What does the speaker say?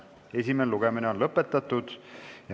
Esimene lugemine on lõppenud.